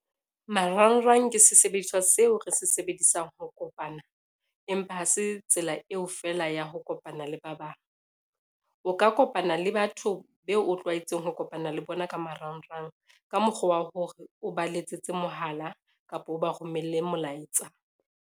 Marangrang ke sesebediswa seo re se sebedisang ho kopana, empa ha se tsela eo feela ya ho kopana le ba bang. O ka kopana le batho beo o tlwaetseng ho kopana le bona ka marangrang, ka mokgwa wa hore o ba letsetse mohala kapa o ba romelle molaetsa.